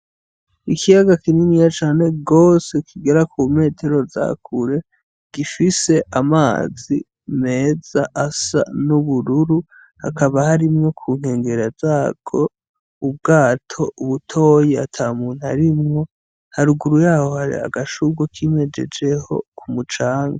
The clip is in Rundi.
Ikiyaga kininiya cane gose kigera ku metero za kure, gifise amazi meza asa n'ubururu, hakaba harimwo kunkegera zarwo ubwato butoyi ata muntu arimwo, haruguru yaho hari agashurwe kimejejeho ku mucanga.